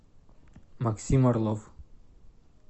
максим орлов